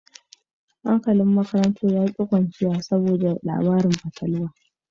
Makarantar ta kasa barci saboda labaran fatalwa